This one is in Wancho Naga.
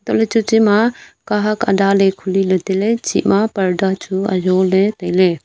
tohle chachi ma kahak adale khuli le taile hantoh le chih ma parda ajong le taile.